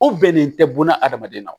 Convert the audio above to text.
O bɛnnen tɛ buna hadamaden na